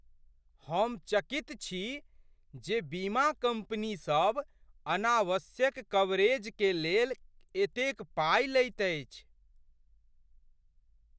हम चकित छी जे बीमा कंपनी सभ अनावश्यक कवरेज के लेल एतेक पाइ लैत अछि।